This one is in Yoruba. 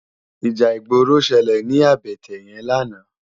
Íjà igbóró ṣëlé ni àbëtè yèn làná